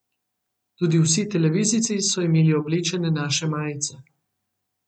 Tudi vsi televizijci so imeli oblečene naše majice.